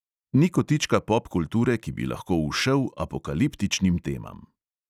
Ni kotička popkulture, ki bi lahko ušel apokaliptičnim temam.